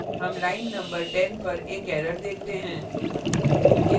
हम line न 10 पर एक error देखते हैं